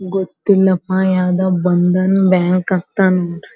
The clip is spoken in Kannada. ಗೊತ್ತಿಲ್ಲಪ ಯಾವ್ದೋ ಬಂದನ್ ಬ್ಯಾಂಕ್ ಅಂತ ಅಂದ್ಬಿಟ್.